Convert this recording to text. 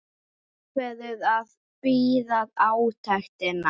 Ákveður að bíða átekta.